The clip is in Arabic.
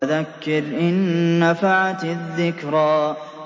فَذَكِّرْ إِن نَّفَعَتِ الذِّكْرَىٰ